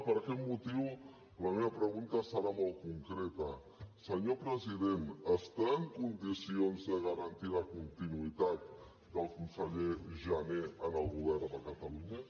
per aquest motiu la meva pregunta serà molt concreta senyor president està en condicions de garantir la continuïtat del conseller jané en el govern de catalunya